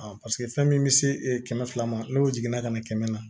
paseke fɛn min bɛ se kɛmɛ fila ma n'o jiginna ka na kɛmɛ na